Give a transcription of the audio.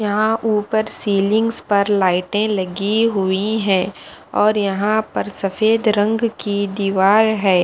यहाँ ऊपर सिलिंग्स पर लाइटे लगी हुई है और यहाँ पर सफ़ेद रंग की दिवार है ।